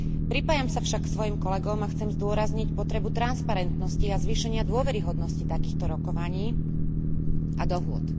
Pripájam sa však k svojim kolegom a chcem zdôrazniť potrebu transparentnosti a zvýšenia dôveryhodnosti takýchto rokovaní a dohôd.